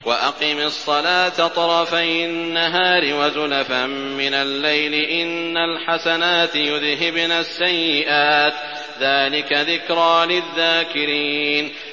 وَأَقِمِ الصَّلَاةَ طَرَفَيِ النَّهَارِ وَزُلَفًا مِّنَ اللَّيْلِ ۚ إِنَّ الْحَسَنَاتِ يُذْهِبْنَ السَّيِّئَاتِ ۚ ذَٰلِكَ ذِكْرَىٰ لِلذَّاكِرِينَ